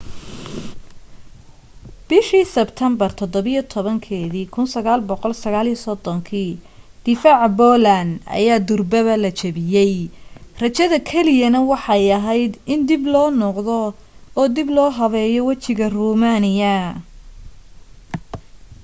bishii sebtember 17 1939 difaaca poland ayaa durbaba la jebiyey rajada kaliyana waxay ahayd in dib loo noqdo oo dib loo habeeyo wejiga romania